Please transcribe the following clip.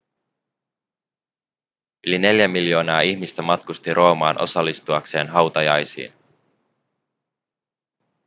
yli neljä miljoonaa ihmistä matkusti roomaan osallistuakseen hautajaisiin